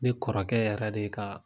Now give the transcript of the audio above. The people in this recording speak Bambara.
Ne kɔrɔkɛ yɛrɛ de ye ka